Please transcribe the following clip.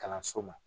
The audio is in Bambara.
Kalanso ma